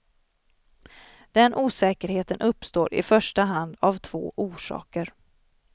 Den osäkerheten uppstår i första hand av två orsaker.